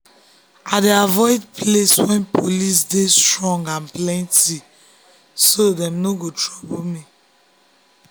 i dey avoid place wey police dey strong and plenty so dem no go trouble me.